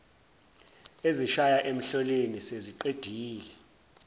ezishaya emhloleni seziqedile